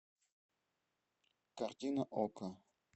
картина окко